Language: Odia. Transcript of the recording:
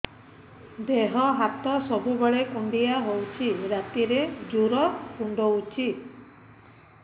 ଦେହ ହାତ ସବୁବେଳେ କୁଣ୍ଡିଆ ହଉଚି ରାତିରେ ଜୁର୍ କୁଣ୍ଡଉଚି